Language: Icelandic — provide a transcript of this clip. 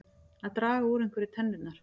Að draga úr einhverju tennurnar